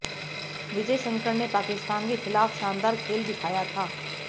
विजय शंकर ने पाकिस्तान के ख़िलाफ़ शानदार खेल दिखाया था